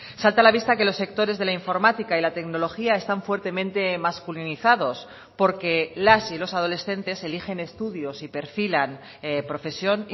salta a la vista que los sectores de la informática y la tecnología están fuertemente masculinizados porque las y los adolescentes eligen estudios y perfilan profesión